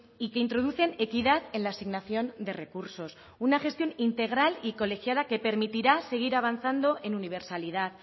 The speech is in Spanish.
y que introducen equidad en la asignación de recursos una gestión integral y colegiada que permitirá seguir avanzando en universalidad